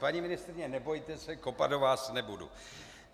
Paní ministryně, nebojte se, kopat do vás nebudu.